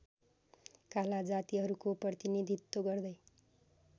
काला जातीहरूको प्रतिनीधित्व गर्दै